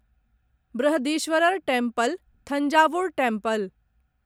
Brihadeeswarar temple Thanjavur temple